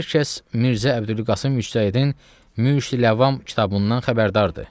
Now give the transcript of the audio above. Hər kəs Mirzə Əbdülqasım Müctəhiddin Müşdü Ləvam kitabından xəbərdardır.